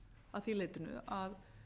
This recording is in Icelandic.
að því leytinu að